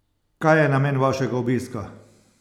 Kaj je namen vašega obiska?